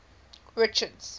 richards